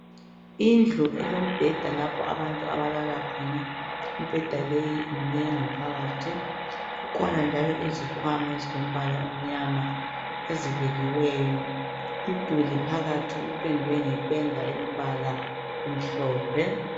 Indlu elombheda lapho abantu abalala khona. Imibheda leyi imnengi phakathi kukhona njalo izikhwama ezilombala omnyama ezibekiweyo umduli phakathi upendwe ngependa elombala omhlophe.